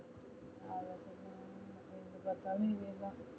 எங்க பாத்தாலும் இதேதா